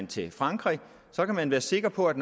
til frankrig kan være sikker på at